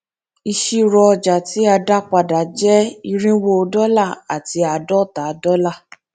ìṣirò ọjà tí a dá padà jẹ irínwó dọlà àti àádóta dọlà